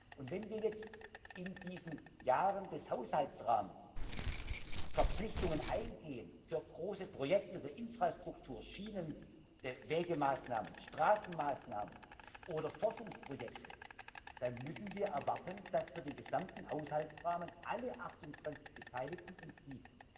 Und wenn wir jetzt in diesen Jahren des Haushaltsrahmens Verpflichtungen eingehen für große Projekte der Infrastruktur Schienenwegemaßnahmen, Straßenmaßnahmen oder Forschungsprojekte dann müssen wir erwarten, dass für den gesamten Haushaltsrahmen alle 28 Beteiligten uns die